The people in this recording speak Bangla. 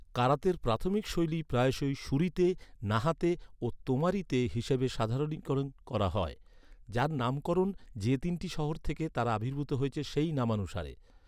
কারাতের প্রাথমিক শৈলী প্রায়শই শুরিতে, নাহাতে ও তোমারিতে হিসেবে সাধারণীকরণ করা হয়, যার নামকরণ যে তিনটি শহর থেকে তারা আবির্ভূত হয়েছে, সেই নামানুসারে।